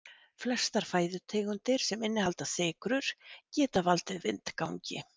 flestar fæðutegundir sem innihalda sykrur geta valdið vindgangi